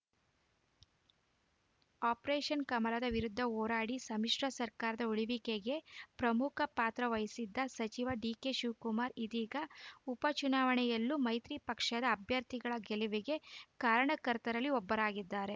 operation ಕಮಲದ ವಿರುದ್ಧ ಹೋರಾಡಿ ಸಮ್ಮಿಶ್ರ ಸರ್ಕಾರ ಉಳಿವಿಕೆಗೆ ಪ್ರಮುಖ ಪಾತ್ರ ವಹಿಸಿದ್ದ ಸಚಿವ ಡಿಕೆಶಿವಕುಮಾರ್‌ ಇದೀಗ ಉಪ ಚುನಾವಣೆಯಲ್ಲೂ ಮೈತ್ರಿ ಪಕ್ಷದ ಅಭ್ಯರ್ಥಿಗಳ ಗೆಲುವಿಗೆ ಕಾರಣಕರ್ತರಲ್ಲಿ ಒಬ್ಬರಾಗಿದ್ದಾರೆ